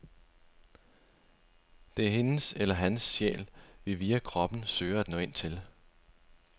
Det er hendes eller hans sjæl, vi via kroppen søger at nå ind til.